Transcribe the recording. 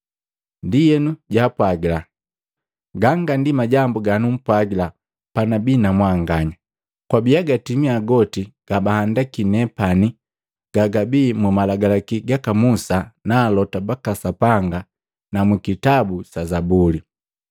Ndienu jaapwagila, “Ganga ndi majambu ganumpwagila panabii namwanganya: Kwabia gatimia goti gabahandaki nepani gagabii mu Malagalaki gaka Musa na alota baka Sapanga na mu kitabu sa Zabuli.”